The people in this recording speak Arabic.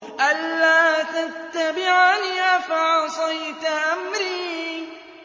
أَلَّا تَتَّبِعَنِ ۖ أَفَعَصَيْتَ أَمْرِي